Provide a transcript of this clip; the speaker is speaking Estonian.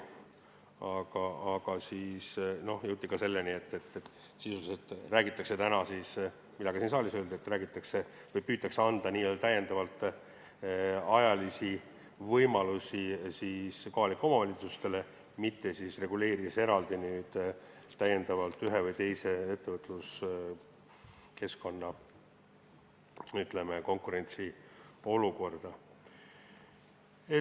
Aga siis jõuti selleni, mida ka siin saalis öeldi, et sisuliselt püütakse anda kohalikele omavalitsustele täiendavalt ajalisi võimalusi, mitte reguleerida eraldi ühe või teise ettevõtlusvaldkonna konkurentsiolukorda.